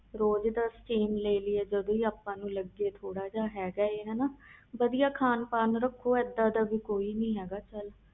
ਰੋਜ਼ ਦੀ Steam ਲੈ ਲਈਏ ਜੇ ਲਗੇ ਤਾ ਜਦ ਹੀ ਲਗੇ ਥੋੜ੍ਹਾ ਜਾ ਵਧਿਆ ਖਾਨ ਪੀਣ ਰੱਖੋ ਇਹਦਾ ਕੁਛ ਨਹੀਂ